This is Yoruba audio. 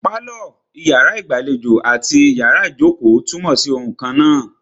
Pálọ̀, iyàrá ìgbàlejò àti iyàrá ìjókò túnmọ̀ sí oun kannáà.